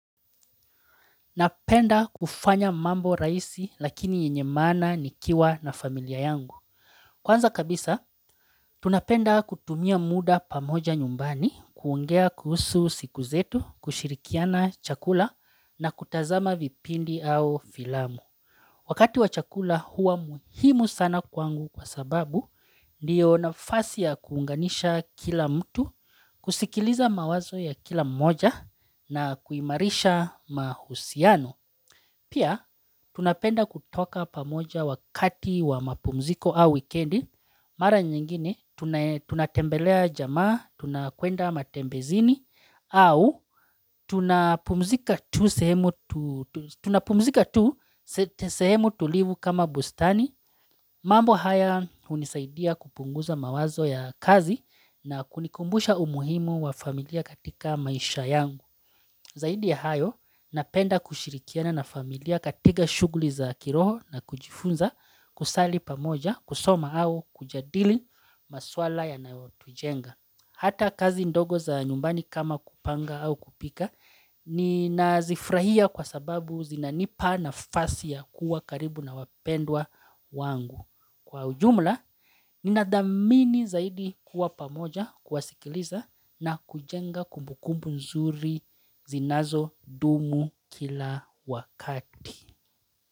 Napenda kufanya mambo rahisi lakini yenye maana nikiwa na familia yangu. Kwanza kabisa, tunapenda kutumia muda pamoja nyumbani, kuongea kuhusu siku zetu, kushirikiana chakula na kutazama vipindi au filamu. Wakati wa chakula huwa muhimu sana kwangu kwa sababu ndio nafasi ya kuunganisha kila mtu, kusikiliza mawazo ya kila mmoja na kuimarisha mahusiano. Pia, tunapenda kutoka pamoja wakati wa mapumziko au wikendi, mara nyingine tunatembelea jamaa, tunakwenda matembezini, au tunapumzika tu sehemu tulivu kama bustani, mambo haya unisaidia kupunguza mawazo ya kazi na kunikumbusha umuhimu wa familia katika maisha yangu Zaidi ya hayo, napenda kushirikiana na familia katiga shuguli za kiroho na kujifunza kusali pamoja, kusoma au kujadili maswala yanaotujenga. Hata kazi ndogo za nyumbani kama kupanga au kupika, ninazifrahia kwa sababu zinanipa nafasi ya kuwa karibu na wapendwa wangu. Kwa ujumla, ninadhamini zaidi kuwa pamoja, kuwasikiliza na kujenga kumbukumbu nzuri zinazodumu kila wakati.